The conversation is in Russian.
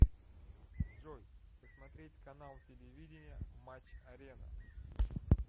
джой посмотреть канал телевидения матч арена